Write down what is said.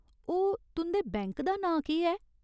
ओह्, तुं'दे बैंक दा नांऽ केह् ऐ ?